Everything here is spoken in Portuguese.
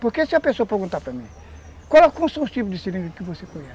Porque se a pessoa perguntar para mim, quais são os tipos de seringa que você conhece?